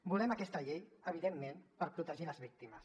volem aquesta llei evidentment per protegir les víctimes